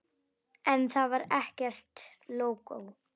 En þar var ekkert lógó.